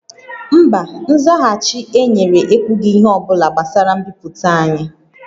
Mba, nzaghachi e nyere ekwughị ihe ọ bụla gbasara mbipụta anyị